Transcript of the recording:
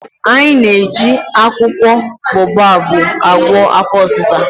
Anyị na-eji akwụkwọ boababụ agwọ afọ ọsịsa.